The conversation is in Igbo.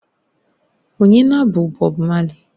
Ọnye na-bụ Bob marley